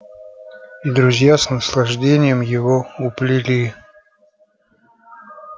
и друзья с наслаждением его уплели